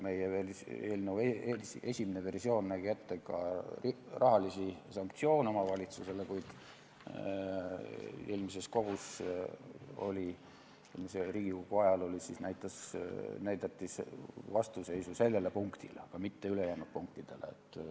Meie eelnõu esimene versioon nägi ette ka rahalisi sanktsioone omavalitsusele, kuid eelmise Riigikogu ajal näidati vastuseisu sellele punktile, mitte ülejäänud punktidele.